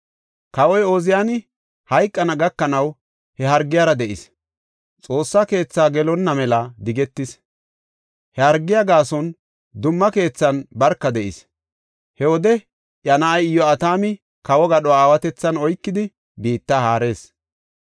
Kawoy Ooziyani hayqana gakanaw he hargiyara de7is; Xoossa keethi gelonna mela digetis. He hargiya gaason dumma keethan barka de7is. He wode iya na7ay Iyo7atami, kawo gadho aawatethan oykidi biitta haarees.